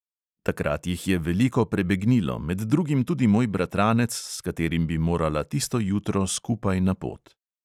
Takrat jih je veliko prebegnilo, med drugim tudi moj bratranec, s katerim bi morala tisto jutro skupaj na pot.